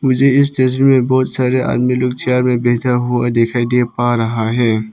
ये इस तस्वीर में बहुत सारे आदमी लोग चेयर में बैठा हुआ दिखाई दे पा रहा है।